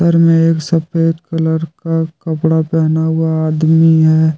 मे एक सफेद कलर का कपड़ा पहना हुआ आदमी है।